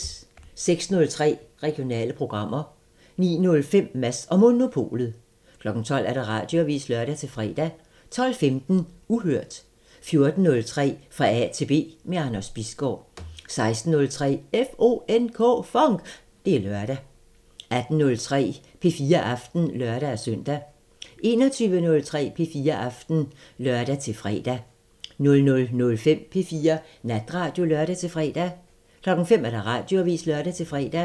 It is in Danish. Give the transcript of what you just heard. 06:03: Regionale programmer 09:05: Mads & Monopolet 12:00: Radioavisen (lør-fre) 12:15: Uhørt 14:03: Fra A til B – med Anders Bisgaard 16:03: FONK! Det er lørdag 18:03: P4 Aften (lør-søn) 21:03: P4 Aften (lør-fre) 00:05: P4 Natradio (lør-fre) 05:00: Radioavisen (lør-fre)